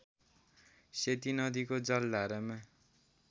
सेती नदीको जलधारामा